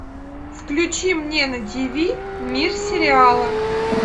включи мне на ти ви мир сериала